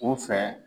U fɛ